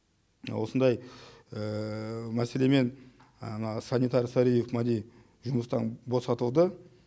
осындай мәселемен ана санитар сариев мәди жұмыстан босатылды